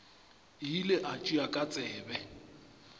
ile a tšea ka tsebe